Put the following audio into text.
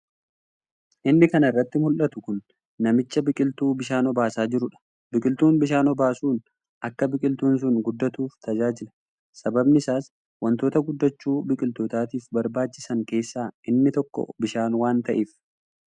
Inni kana irratti muldhatu kun namicha biqiltuu bishaan obaasaa jirudha. Biqiltuu bishaan obaasuun akka biqiltuun sun guddatuuf tajaajila. Sababni isaas wantoota guddachuu biqiltootaatiif barbaachisan keessaa inni tokko bishaan waan ta'eef.